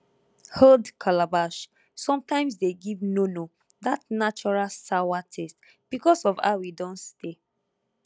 old calabash sometimes de give nono that natural sawa taste because of how e don stay